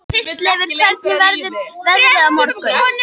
Kristleifur, hvernig verður veðrið á morgun?